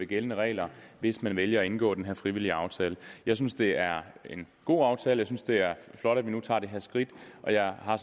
gældende regler hvis man vælger at indgå den her frivillige aftale jeg synes det er en god aftale jeg synes det er flot at vi nu tager det her skridt og jeg har